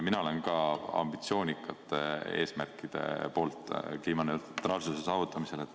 Mina olen ka ambitsioonikate eesmärkide poolt kliimaneutraalsuse saavutamisel.